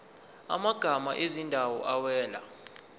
amagama ezindawo awela